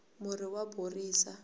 murhi wa horisa